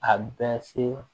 A bɛ se